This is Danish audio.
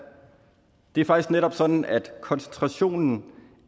det er faktisk netop sådan at koncentrationen